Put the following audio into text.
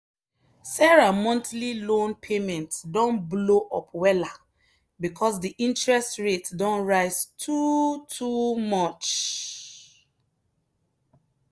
sarah monthly loan payment don blow up wella because the interest rate don rise too too much.